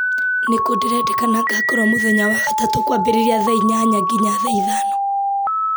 nĩ kũ ndĩrendeka ngakorwo mũthenya wa gatatũ kwambĩrĩria thaa inyanya nginya thaa ithano